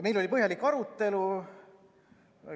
Meil oli põhjalik arutelu.